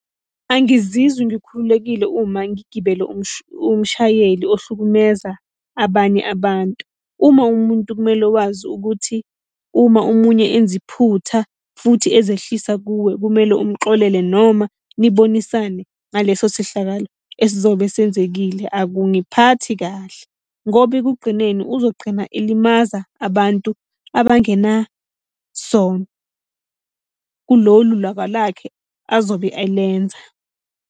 Angizizwi ngikhululekile uma ngigibele umshayeli ohlukumeza abanye abantu. Uma uwumuntu kumele wazi ukuthi uma omunye enza iphutha futhi ezehlisa kuwe kumele umxolele, noma nibonisane ngaleso sehlakalo esizobe senzekile. Akungiphathi kahle ngoba ekugqineni uzogqina elimaza abantu abangenasono kulolu laka lakhe azobe alenza.